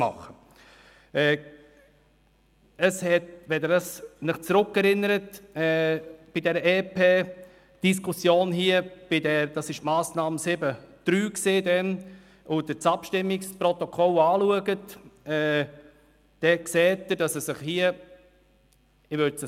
Wenn Sie sich an die EP-Diskussion zurückerinnern – es handelte sich um die Massnahme 7.3 – und das Abstimmungsprotokoll betrachten, sehen Sie, dass es sich um ein Zufallsmehr handelt.